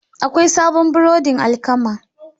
Akwai sabon burodin alkama.